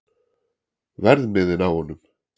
Verðmiðinn á honum?